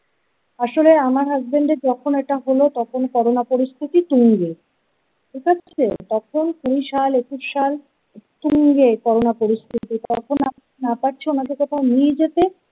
আসলে আমার হাসবেন্ড যখন এটা হল তখন corona পরিস্থিতি তুঙ্গে ঠিক আছে তখন কুরি সাল একুশ সাল তুঙ্গে করোনা পরিস্থিতি কল্পনা না পারছে ওনাদের কোথাও নিয়ে যেতে ।